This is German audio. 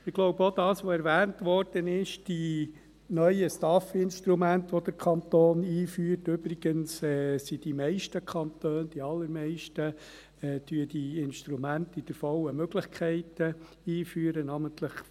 Ich glaube auch, dass das, was erwähnt wurde, dass die neuen STAF-Instrumente, die der Kanton einführt, eigentlich dazu führen, dass der Wettbewerb unter den Kantonen nach wie vor spielt, auch nachher bei der Frage der Steuererleichterung.